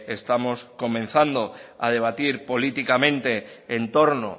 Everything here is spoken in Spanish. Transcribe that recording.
estamos comenzando a debatir políticamente en torno